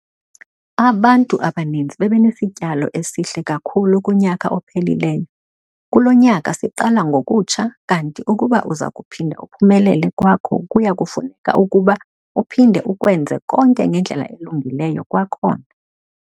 Abantu abaninzi bebenesityalo esihle kakhulu kunyaka ophelileyo - kulo nyaka siqala ngokutsha kanti ukuba uza kuphinda uphumelele kwakho kuya kufuneka ukuba uphinde ukwenze konke ngendlela elungileyo kwakhona.